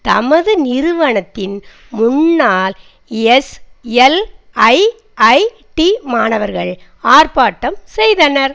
தமது நிறுவனத்தின் முன்னால் எஸ்எல்ஐஐடி மாணவர்கள் ஆர்ப்பாட்டம் செய்தனர்